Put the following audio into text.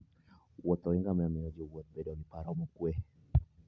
Wuoth ngamia miyo jowuoth bedo gi paro mokwe.